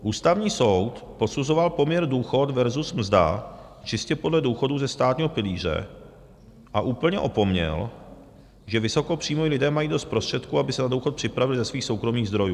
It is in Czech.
Ústavní soud posuzoval poměr důchod versus mzda čistě podle důchodů ze státního pilíře a úplně opomněl, že vysokopříjmoví lidé mají dost prostředků, aby se na důchod připravili ze svých soukromých zdrojů.